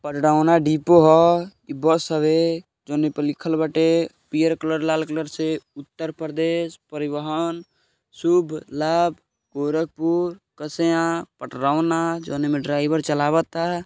Depot ह। ई bus हवे। जौन एपर लिखल बाटे पियर कलर लाल कलर से उत्तर प्रदेश परिवहन शुभ लाभ गोरखपुर कसया पटरौना जौन एमे ड्राइवर चलवाता।